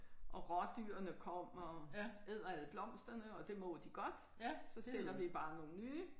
Og rådyrene kommer og æder alle blomsterne og det må de godt så sætter vi bare nogle nye